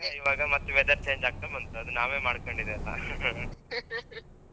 ಮತ್ತೆ weather change ಆಗ್ತಾ ಬಂತು ಅದು ನಾವೇಮಾಡ್ಕೊಂಡಿದ್ದೇಲ್ಲಾ